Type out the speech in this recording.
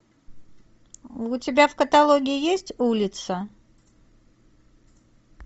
у тебя в каталоге есть улица